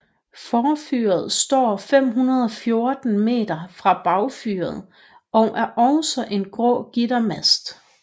Forfyret står 514 meter fra bagfyret og er også en grå gittermast